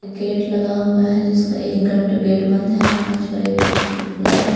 एक गेट लगा हुआ है जिसका एक गं गेट बंद है कांच और एक गेट खुला है.